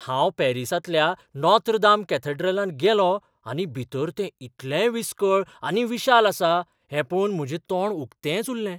हांव पॅरिसांतल्या Notre Dame कॅथेड्रलांत गेलों आनी भितर तें इतलें विसकळ आनी विशाल आसा हें पळोवन म्हजें तोंड उक्तेंच उरलें .